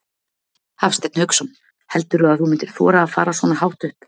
Hafsteinn Hauksson: Heldurðu að þú myndir þora að fara svona hátt upp?